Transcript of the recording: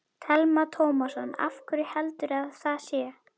Telma Tómasson: Af hverju heldurðu að það sé?